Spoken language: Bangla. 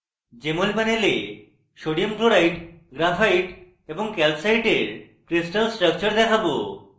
jmol panel sodium chloride graphite এবং calcite crystal স্ট্রাকচর দেখাবো